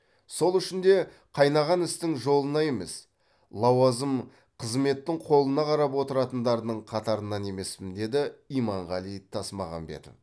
сол үшін де қайнаған істің жолына емес лауазым қызметтің қолына қарап отыратындардың қатарынан емеспін деді иманғали тасмағамбетов